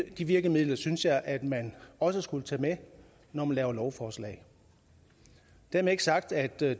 de virkemidler synes jeg at man også skulle tage med når man laver lovforslag dermed ikke sagt at det er